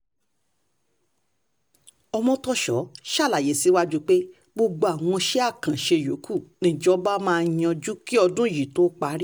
ọmọ́tòso ṣàlàyé síwájú sí i pé gbogbo àwọn iṣẹ́ àkànṣe yòókù nìjọba máa yanjú kí ọdún yìí tó parí